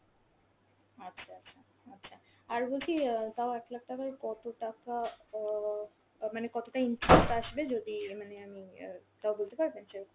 আচ্ছা আচ্ছা, আচ্ছা। আর বলছি অ্যাঁ তাও এক lakh টাকাই কত টাকা অ আ মানে কতটা interest আসবে যদি অ্যাঁ মানে আমি অ্যাঁ তাও বলতে পারবেন সেরকম?